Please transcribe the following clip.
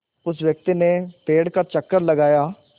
उस व्यक्ति ने पेड़ का चक्कर लगाया